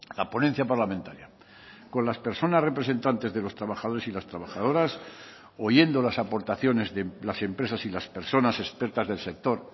la ponencia parlamentaria con las personas representantes de los trabajadores y las trabajadoras oyendo las aportaciones de las empresas y las personas expertas del sector